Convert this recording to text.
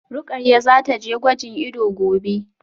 Rukayyah zataje gwajin ido gobe